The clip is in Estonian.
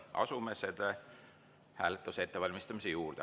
Asume hääletuse ettevalmistamise juurde.